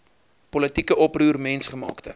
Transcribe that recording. politieke oproer mensgemaakte